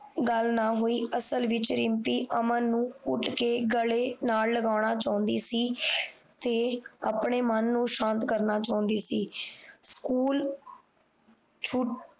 ਗੱਲ ਨਾ ਹੋਈ ਅਸਲ ਵਿੱਚ ਰਿਮਪੀ ਅਮਨ ਨੂੰ ਘੁੱਟ ਕ ਗਲੇ ਨਾਲ ਲਗਾਉਣਾ ਚਾਹੁੰਦੀ ਸੀ ਤੇ ਆਪਣੇ ਮਨ ਨੂੰ ਸ਼ਾਂਤ ਕਰਨਾ ਚਾਹੁੰਦੀ ਸੀ ਸਕੂਲ